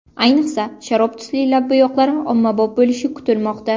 Ayniqsa, sharob tusli lab bo‘yoqlari ommabop bo‘lishi kutilmoqda.